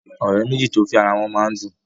òré méjì to fè àrà wón mọ ń dùn.